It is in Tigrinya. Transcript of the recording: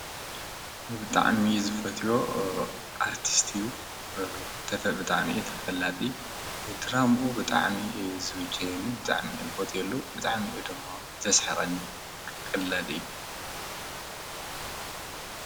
ብጣዕሚ ዝፈትዎ አርቲስት እዪ:: ብጣዕሚ ተፈላጢ ድራማኡ ብጣዕሚ ዝምቸወኒ ብጣዕሚ እየ ዝፈትወሉ ብጣዕሚ ድማ እዩ ዘስሕቀኒ ቀላዲ እዪ::